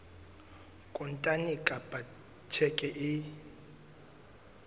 kontane kapa ka tjheke e